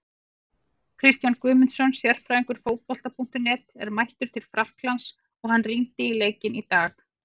Kristján Guðmundsson, sérfræðingur Fótbolta.net, er mættur til Frakklands og hann rýndi í leikinn í dag.